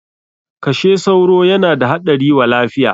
Kashe sauro yana da haɗari wa lafiya!